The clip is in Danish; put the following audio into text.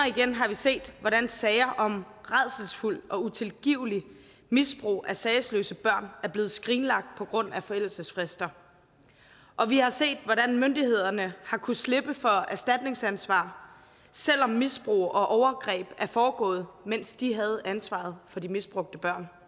igen har vi set hvordan sager om rædselsfuldt og utilgiveligt misbrug af sagesløse børn er blevet skrinlagt på grund af forældelsesfrister og vi har set hvordan myndighederne har kunnet slippe for erstatningsansvar selv om misbrug og overgreb er foregået mens de havde ansvaret for de misbrugte børn